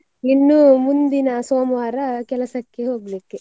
ಇನ್ನು ಮುಂದಿನ ಸೋಮವಾರ ಕೆಲಸಕ್ಕೆ ಹೋಗ್ಲಿಕ್ಕೆ.